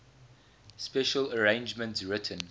special arrangements written